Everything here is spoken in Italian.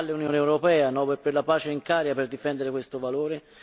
Cosa fa l'Unione europea, Nobel per la pace in carica, per difendere questo valore?